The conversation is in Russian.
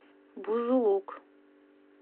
бузулук